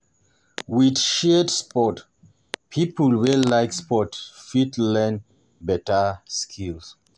For pipo wey dey interested in building career as sport e fit make pipo recognise them